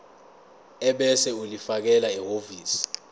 ebese ulifakela ehhovisi